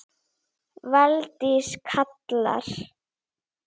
Þínir vinir, Dúna og Barði.